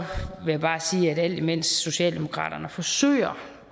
vil jeg bare sige at alt imens socialdemokraterne forsøger